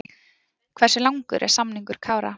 Hversu langur er samningur Kára?